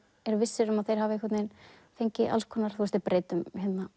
eru vissir um að þeir hafi fengið alls konar þeir breyta um